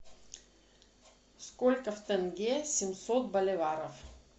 сколько в тенге семьсот боливаров